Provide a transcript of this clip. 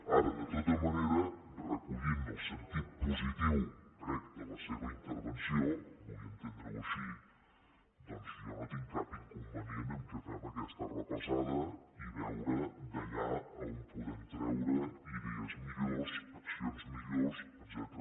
ara de tota manera recollint el sentit positiu crec de la seva intervenció vull entendre ho així doncs jo no tinc cap inconvenient que fem aquesta repassada i veure d’allà on podem treure idees millors accions millors etcètera